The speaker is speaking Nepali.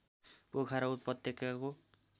पोखरा उपत्यकाको